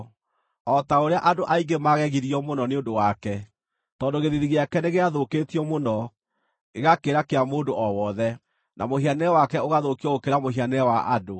O ta ũrĩa andũ aingĩ maagegirio mũno nĩ ũndũ wake, tondũ gĩthiithi gĩake nĩgĩathũkĩtio mũno, gĩgakĩra kĩa mũndũ o wothe, na mũhianĩre wake ũgathũkio gũkĩra mũhianĩre wa andũ,